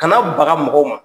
Kana baga mɔgɔw ma.